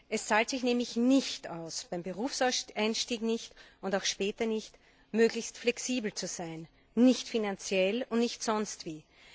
Es zahlt sich nämlich nicht aus beim Berufseinstieg nicht und auch später nicht möglichst flexibel zu sein, weder finanziell noch sonst wie.